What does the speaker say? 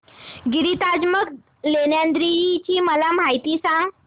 गिरिजात्मज लेण्याद्री ची मला माहिती सांग